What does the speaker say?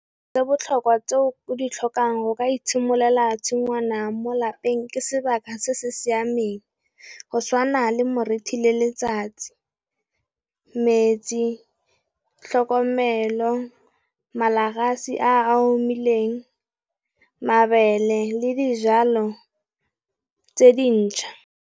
Tse botlhokwa tse o di tlhokang go ka itshimololela tshingwana mo lapeng ke sebaka se se siameng, go tshwana le moriti le letsatsi, metsi, tlhokomelo, malagasi a omileng, mabele le dijalo tse dintšha.